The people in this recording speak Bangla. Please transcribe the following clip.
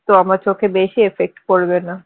তো আমার চোখে বেশি effect করবে না